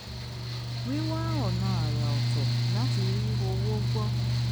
wíwá ọ̀nà àrà ọ̀tọ̀ láti rí owó gbọ́